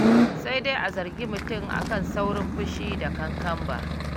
Sai dai a zargi mutum a kan saurin fushi da kankamba.